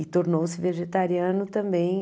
E tornou-se vegetariano também.